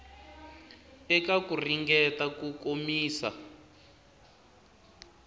eka ku ringeta ku komisa